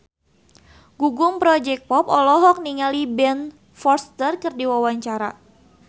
Gugum Project Pop olohok ningali Ben Foster keur diwawancara